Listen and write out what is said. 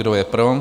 Kdo je pro?